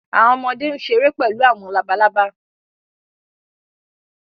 àwọn ọmọde n ṣere pẹlu àwọn làbàlábá